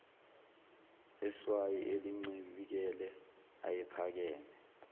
eswayi elincibikele ayephakeme